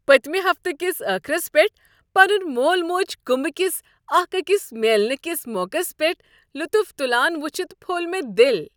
پٔتمہ ہفتہٕ کس ٲخرس پٮ۪ٹھ پنن مول موج كُمبہٕ كِس اكھ اكِس میلنہٕ کس موقس پیٹھ لطف تلان وٕچھِتھ پھوٚل مےٚ دل۔